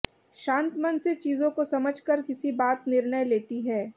शांत मन से चीजों को समझ कर किसी बात निर्णय लेती है